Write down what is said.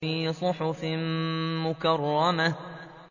فِي صُحُفٍ مُّكَرَّمَةٍ